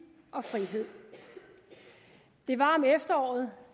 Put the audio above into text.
og frihed det var om efteråret